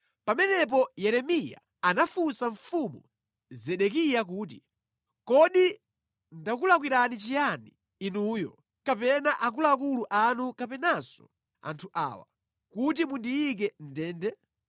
Pamenepo Yeremiya anafunsa Mfumu Zedekiya kuti, “Kodi ndakulakwirani chiyani inuyo kapena akuluakulu anu kapenanso anthu awa, kuti mundiyike mʼndende?